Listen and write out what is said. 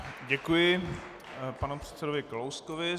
Děkuji panu předsedovi Kalouskovi.